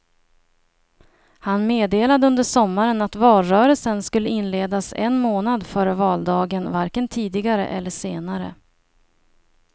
Han meddelade under sommaren att valrörelsen skulle inledas en månad före valdagen, varken tidigare eller senare.